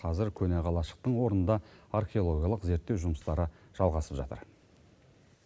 қазір көне қалашықтың орнында археологиялық зерттеу жұмыстары жалғасып жатыр